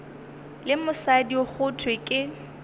le mosadi go thwe ke